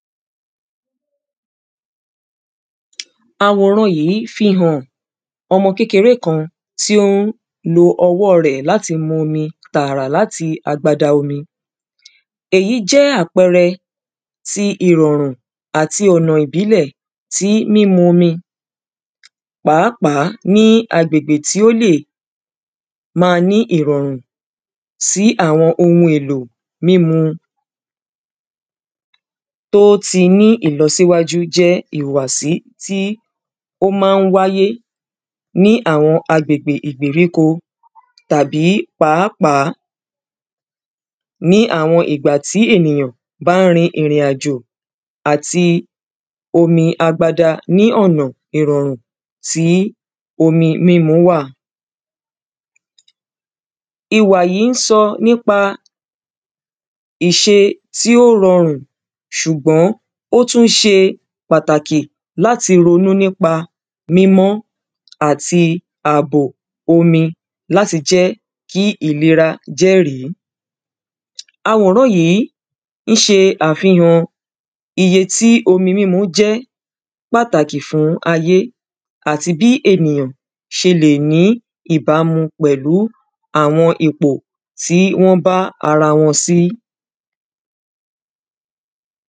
àwòran yìí fi hàn ọmọkékeré kan tí ó ń lo ọwọ́ rẹ̀ láti mu omi tààrà láti agbada omi èyí jẹ́ àpẹrẹ tí ìrọ̀rùn àti ọ̀nà ìbílẹ̀ tí mímu omi pàápàá ní agbègbè tí ó lè máa ní ìrọ̀rùn sí àwọn ohun èlò mímu tó ti ní ìlọsíwájú jẹ́ ìwàsí tí ó má ń wáyé ní àwọn agbègbè ìgbèríko tàbí pàápàá ní àwọn ìgbà tí ènìyàn bá ń rin ìrìn àjò àti omi agbada ní ònà ìrọ̀rùn tí omi mímu wà iwà yí ń sọ nípa ìṣe tí ó rọrùn sùgbọ́n ó tún ṣe pàtàkì láti ronú nípa mímọ́ àti àbò omi láti jẹ́ kí ìlera jẹ́rìí awòrán yìí ń ṣe àfihàn iye tí omi mímu jẹ́ pàtàkì fún ayé àti bí ènìyàn ṣe lè ní ìbámu pẹ̀lú àwọn ipò tí wọ́n bá ara wọn sí